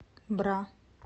бра